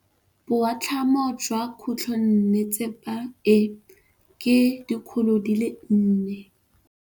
Boatlhamô jwa khutlonnetsepa e, ke 400.